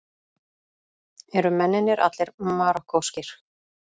Eru mennirnir allir Marokkóskir